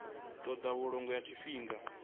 ṱo ḓa vhulondo ha tshifhinga